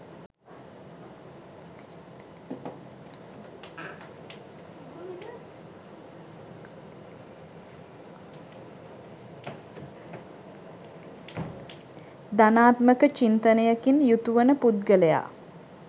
ධනාත්මක චින්තනයකින් යුතු වන පුද්ගලයා